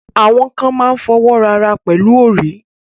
Awọn kàn mà n fọ́wọ́ra arà pẹ̀lú orí.